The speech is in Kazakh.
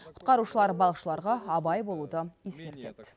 құтқарушылар балықшыларға абай болуды ескертеді